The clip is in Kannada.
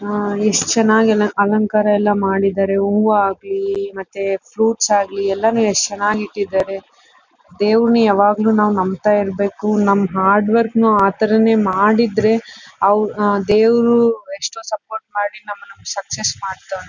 ಆಹ್ಹ್ ಎಸ್ಟ್ ಚೆನ್ನಾಗ್ ಎಲ್ಲ ಅಲಂಕಾರ ಮಾಡಿದರೆ. ಹೂವು ಆಗಲಿ ಮತ್ತೆ ಫ್ರುಇಟ್ಸ್ ಆಗಲಿ ಎಲ್ಲ ಎಸ್ಟ್ ಚೆನ್ನಾಗ್ ಇಟ್ಟಿದಾರೆ. ದೇವ್ರನ್ನ ಯಾವಾಗಲು ನಾವ್ ನಂಬತ ಇರ್ಬೇಕು. ನಮ್ಮ್ ಹಾರ್ಡವರ್ಕ್ ನ ಅತರ ನೇ ಮಾಡಿದ್ರೆ ದೇವ್ರು ಎಕ್ಸ್ಟ್ರಾ ಸಪೋರ್ಟ್ ಮಾಡಿ ನಮ್ಮಣ್ಣ ಸಕ್ಸಸ್ ಮಾಡ್ತವ್ನೆ.